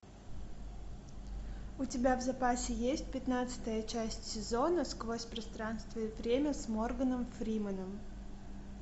у тебя в запасе есть пятнадцатая часть сезона сквозь пространство и время с морганом фрименом